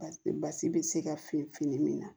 Basi basi bɛ se ka feere fini min na